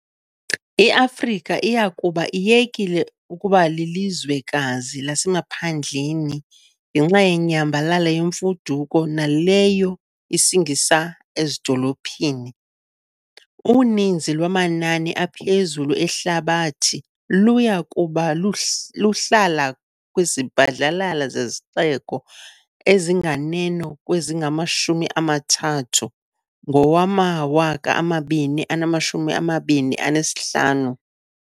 IAfrika iya kuba iyekile ukuba 'lilizwekazi lasemaphandleni' ngenxa yenyambalala yemfuduko naleyo isingisa ezidolophini. Uninzi lwamanani aphezulu ehlabathi luya kuba lusi luhlala kwizibhadlalala zezixeko ezinganeno kwezingama-30 ngowama-2025.